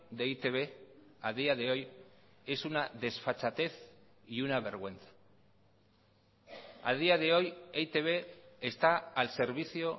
de e i te be a día de hoy es una desfachatez y una vergüenza a día de hoy e i te be está al servicio